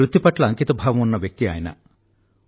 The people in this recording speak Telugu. వృత్తి పట్ల అంకితభావం ఉన్న వ్యక్తి ఆయన